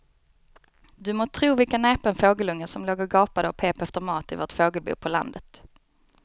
Du må tro vilken näpen fågelunge som låg och gapade och pep efter mat i vårt fågelbo på landet.